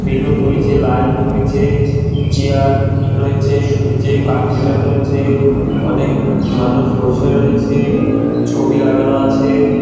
Balloon রয়েছে light রয়েছে chair রয়েছে নীচে কার্পেটও রয়েছে অনেক মানুষ বসে রয়েছে। ছবি লাগানো আছে।